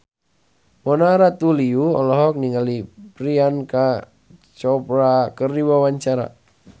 Mona Ratuliu olohok ningali Priyanka Chopra keur diwawancara